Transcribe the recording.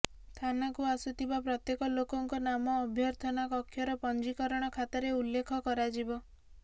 ଥାନାକୁ ଆସୁଥିବା ପ୍ରତ୍ୟେକ ଲୋକଙ୍କ ନାମ ଅଭ୍ୟର୍ଥନା କକ୍ଷର ପଞ୍ଜିକରଣ ଖାତାରେ ଉଲ୍ଲେଖ କରାଯିବ